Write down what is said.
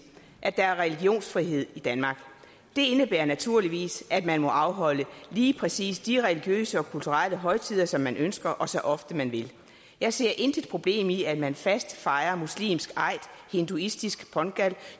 at der er religionsfrihed i danmark det indebærer naturligvis at man må afholde lige præcis de religiøse og kulturelle højtider som man ønsker og så ofte man vil jeg ser intet problem i at man fast fejrer muslimsk eid hinduistisk pongal